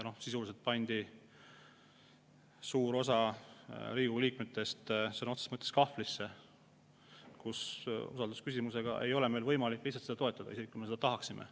Sisuliselt pandi suur osa Riigikogu liikmetest sõna otseses mõttes kahvlisse: usaldusküsimuse korral ei ole meil võimalik eelnõu toetada, isegi kui me seda tahaksime.